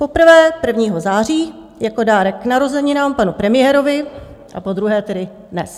Poprvé 1. září jako dárek k narozeninám panu premiérovi a podruhé tedy dnes.